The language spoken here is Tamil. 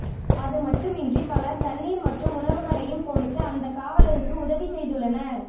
அதுமட்டுமின்றி பலர் தண்ணீர் மற்றும் உணவுகளையும் கொடுத்து அந்த காவலருக்கு உதவி செய்துள்ளனர்